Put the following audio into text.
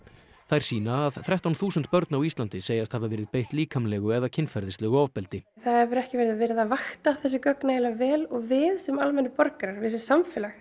þær sýna að þrettán þúsund börn á Íslandi segjast hafa verið beitt líkamlegu eða kynferðislegu ofbeldi það hefur ekki verið að vakta þessi gögn nægilega vel og við sem almennir borgarar sem samfélag